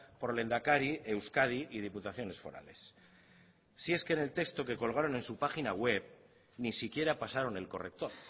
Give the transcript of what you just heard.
por lehendakari euskadi y diputaciones forales si es que en el texto que colgaron en su página web ni siquiera pasaron el corrector